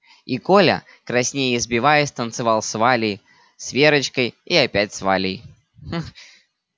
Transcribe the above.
и коля краснея и сбиваясь танцевал с валей с верочкой и опять с валей